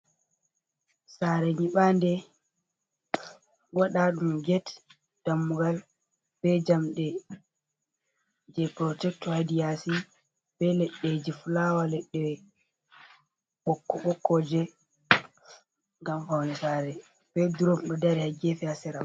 Sare nyiɓande, waɗaaɗum get, dammugal, be jamɗe, jei protekto ha hedi yaasi. Be leɗɗeji flawa, ledde ɓokko-ɓokkoji ngam paune saare. Be drom ɗo dari ha gefe, ha sera.